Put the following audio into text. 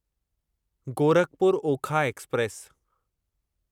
Gorakhpur Okha express